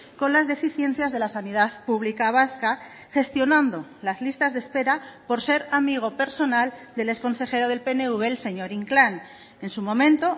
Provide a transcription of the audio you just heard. con las deficiencias de la sanidad pública vasca gestionando las listas de espera por ser amigo personal del exconsejero del pnv el señor inclán en su momento